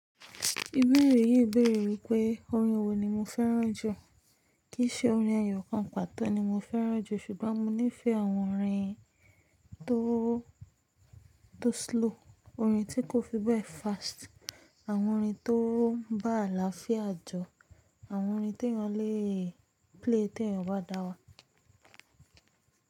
Ìbéèrè yìí béèrè wípé, orin wo ni mo fẹ́ràn jù? Kìí ṣe orin eyọ̀kan pàtó ni mo fẹ́ràn jù, ṣùgbọ́n mo nífẹ̀ẹ́ àwọn orin tó, tó slow, orin tí kò fi bẹ́ẹ̀ fast, àwọn orin tó bá àlàáfíà jọ, àwọn orin tí èèyàn lè play tí èèyàn bá dára.